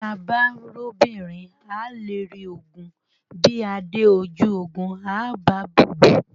Bí a bá róbìnrin, à á lérí ogun, bí a dé ojú ogun, à á ba búbú.